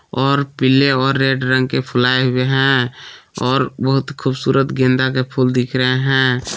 और पीले और रेड रंग के फूलाये हुए हैं और बहुत खूबसूरत गेंदा के फूल दिख रहे हैं।